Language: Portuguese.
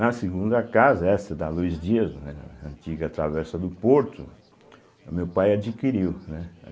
Na segunda casa, essa da Luiz Dias, né, na antiga Travessa do Porto, o meu pai adquiriu, né?